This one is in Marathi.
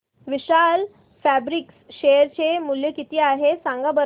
विशाल फॅब्रिक्स शेअर चे मूल्य किती आहे सांगा बरं